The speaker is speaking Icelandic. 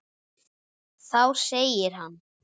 Þá segir hann